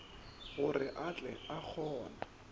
gore o tle o kgone